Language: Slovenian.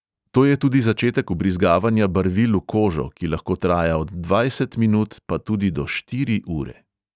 To je tudi začetek vbrizgavanja barvil v kožo, ki lahko traja od dvajset minut pa tudi do štiri ure.